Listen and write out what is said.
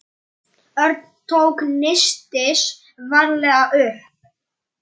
Ég skrifa þá fimm ár.